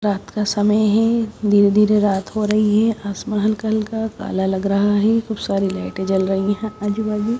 रात का समय है धीरे धीरे रात हो रही है आसमान कलर का काला लग रहा है खूब सारी लाइटें जल रही हैं आजू बाजू।